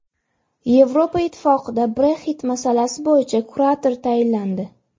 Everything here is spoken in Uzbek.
Yevropa Ittifoqida Brexit masalasi bo‘yicha kurator tayinlandi.